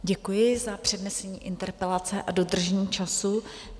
Děkuji za přednesení interpelace a dodržení času.